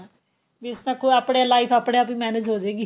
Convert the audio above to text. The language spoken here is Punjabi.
ਵੀ ਸਗੋਂ ਆਪਣੀ life ਆਪਣੇ ਆਪ ਹੀ manage ਹੋਜੇਗੀ